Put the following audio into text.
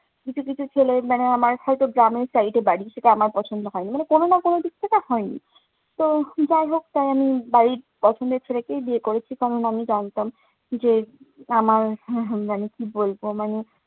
কিছু কিছু ছেলে মানে আমার সাথে গ্রামের side এ বাড়ি সেটা আমার পছন্দ হয়নি। মানে কোনো কোনোদিক থেকে আর হয়নি। তো যাইহোক তো আমি বাড়ির পছন্দের ছেলেকেই বিয়ে করেছি। কারণ আমি জানতাম যে, আমার হম জানি কি বলবো? মানে